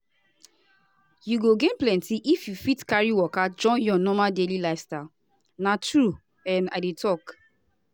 you go gain plenty if you fit carry waka join your normal daily lifestyle na true um i dey talk.